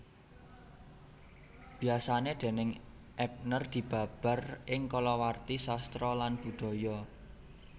Biasané déning Ebner dibabar ing kalawarti sastra lan budaya